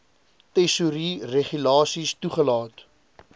tesourie regulasies toegelaat